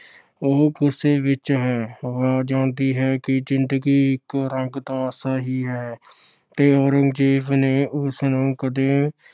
ਉਹ ਗੁੱਸੇ ਵਿੱਚ ਹੈ। ਆਵਾਜ਼ ਆਉਂਦੀ ਹੈ ਕਿ ਜ਼ਿੰਦਗੀ ਇੱਕ ਰੰਗ ਤਮਾਸ਼ਾ ਹੀ ਹੈ ਤੇ ਔਰੰਗਜ਼ੇਬ ਨੇ ਇਸ ਨੂੰ ਕਦੇ